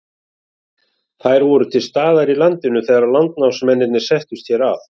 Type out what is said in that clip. Þær voru til staðar í landinu þegar landnámsmennirnir settust hér að.